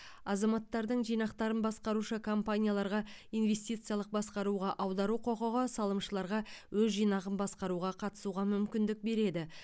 азаматтардың жинақтарын басқарушы компанияларға инвестициялық басқаруға аудару құқығы салымшыларға өз жинағын басқаруға қатысуға мүмкіндік береді